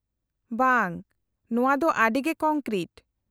-ᱵᱟᱝ, ᱱᱚᱶᱟ ᱫᱚ ᱟᱹᱰᱤ ᱜᱮ ᱠᱚᱝᱠᱨᱤᱴ ᱾